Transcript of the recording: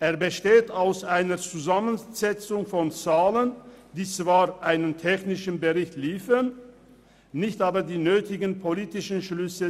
Er besteht aus einer Zusammensetzung von Zahlen und liefert zwar technische Informationen, aber er zieht nicht die nötigen politischen Schlüsse.